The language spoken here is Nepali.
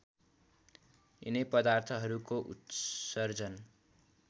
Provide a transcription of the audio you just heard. यिनै पदार्थहरूको उत्सर्जन